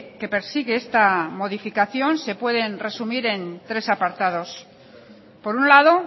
que persigue esta modificación se pueden resumir en tres apartados por un lado